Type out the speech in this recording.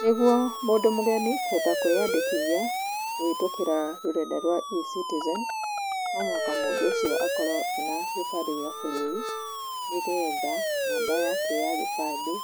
Nĩguo, mũndũ mũgeni, kũhota kwĩyandĩkithia, kũhĩtũkĩra rũrenda rwa E-Citizen, no mũhaka mũndũ ũcio akorũo ena gĩbandĩ gĩa bũrũri, nĩgetha namba yake ya gĩbandĩ,